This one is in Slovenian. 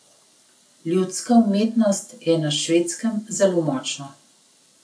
Ljudska umetnost je na Švedskem zelo močna.